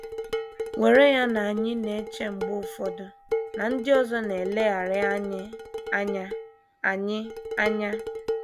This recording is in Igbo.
Were ya na anyị na - eche mgbe ụfọdụ na ndị ọzọ na - eleghara anyị anya anyị anya.